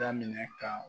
Daminɛ ka